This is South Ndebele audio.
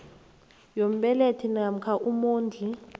yombelethi namkha umondli